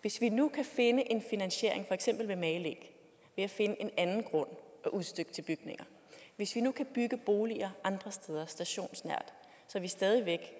hvis vi nu kan finde en finansiering for eksempel ved magelæg ved at finde en anden grund at udstykke til bygninger hvis vi nu kan bygge boliger andre steder stationsnært så vi stadig væk